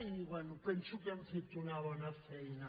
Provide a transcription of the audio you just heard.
i bé penso que hem fet una bona feina